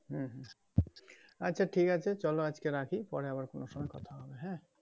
হুম, হুম আচ্ছা ঠিক আছে চলো আজকে রাখি পরে আবার কোনো সময়ে কোথা হবে হ্যাঁ?